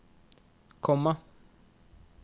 komma